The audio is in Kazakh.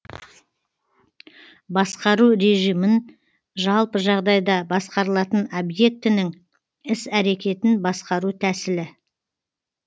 басқару режімі жалпы жағдайда басқарылатын объектінің іс әрекетін басқару төсілі